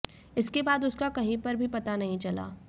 इसके बाद उसका कहीं पर भी पता नहीं चला